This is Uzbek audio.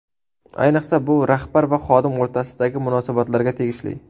Ayniqsa, bu rahbar va xodim o‘rtasidagi munosabatlarga tegishli.